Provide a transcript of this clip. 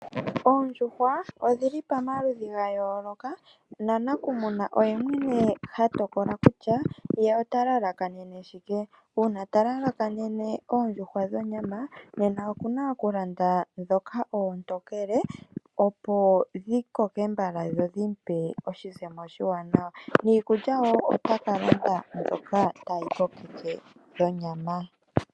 Oondjuhwa odhili pamaludhi ga yooloka nanakumuna oye mwene hatokola kutya ye ota lalakanene shike. Uuna talalakanene oondjuhwa dhonyama nena okuna okulanda dhoka ontokele opo dhi koke mbala dho dhi pe oshizemo oshiwanawa niikulya wo otaka landa mbyoka tayi ko keke dhonyama .